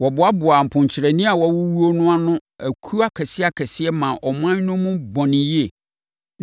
Wɔboaboaa mponkyerɛne a wɔawuwuo no ano akuo akɛseakɛseɛ maa ɔman no mu bɔn yie.